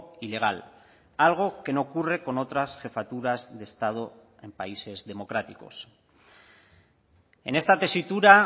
y legal algo que no ocurre con otras jefaturas de estado en países democráticos en esta tesitura